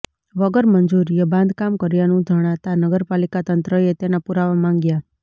વગર મંજૂરીએ બાંધકામ કર્યાનું જણાતાં નગરપાલિકાતંત્રએ તેના પુરાવા માંગ્યા